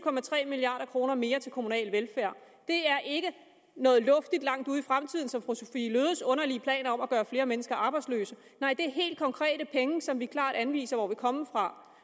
milliard kroner mere til kommunal velfærd det er ikke noget luftigt langt ude i fremtiden som fru sophie løhdes underlige plan om at gøre flere mennesker arbejdsløse nej det er helt konkrete penge som vi klart anviser hvor vil komme fra